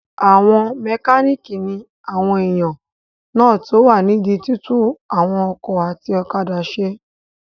Àwọn mẹkánìkì ní àwọn èèyàn náà tó wà nídi túntún àwọn ọkọ̀ àti òkadà ṣe